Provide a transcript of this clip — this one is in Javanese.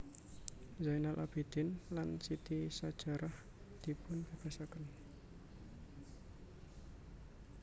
Zainal Abidin lan Siti Sajarah dipunbebasaken